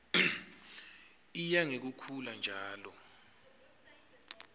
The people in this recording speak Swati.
iya ngekukhula njalo